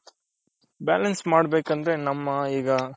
balance ಮಾಡ್ ಬೇಕಂದ್ರೆ ನಮ್ಮ ಈಗ